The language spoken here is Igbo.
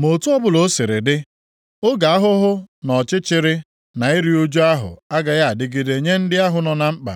Ma otu ọbụla o siri dị, oge ahụhụ na ọchịchịrị na iru ụjụ ahụ agaghị adịgide nye ndị ahụ nọ na nkpa.